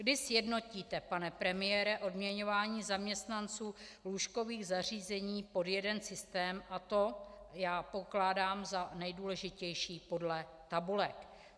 Kdy sjednotíte, pane premiére, odměňování zaměstnanců lůžkových zařízení pod jeden systém, a to já pokládám za nejdůležitější, podle tabulek?